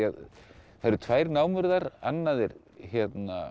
það eru tvær námur þar annað hét